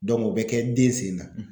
o be kɛ den sen na.